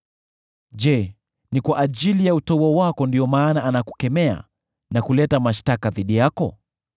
“Je, ni kwa ajili ya utaua wako ndiyo maana anakukemea na kuleta mashtaka dhidi yako?